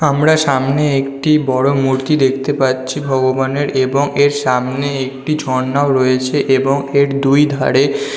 আমরা সামনে একটি বড় মূর্তি দেখতে পাচ্ছি ভগবানের এবং এর সামনে একটি ঝর্ণাও রয়েছে এবং এর দুইধারে --